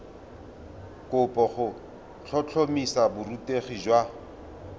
kopo go tlhotlhomisa borutegi jwa